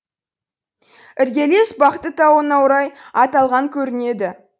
іргелес бақты тауына орай аталған көрінеді